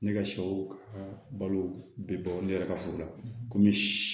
Ne ka sɛw ka balo bɛ bɔ ne yɛrɛ ka furu la komi